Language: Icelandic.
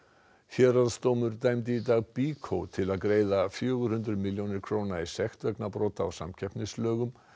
héraðsdómur dæmdi dag BYKO til að greiða fjögur hundruð milljónir króna í sekt vegna brota á samkeppnislögum